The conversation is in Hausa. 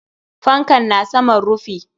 Fankan na saman rufi.